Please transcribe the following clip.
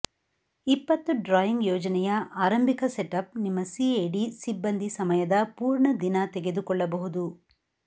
ಇಪ್ಪತ್ತು ಡ್ರಾಯಿಂಗ್ ಯೋಜನೆಯ ಆರಂಭಿಕ ಸೆಟಪ್ ನಿಮ್ಮ ಸಿಎಡಿ ಸಿಬ್ಬಂದಿ ಸಮಯದ ಪೂರ್ಣ ದಿನ ತೆಗೆದುಕೊಳ್ಳಬಹುದು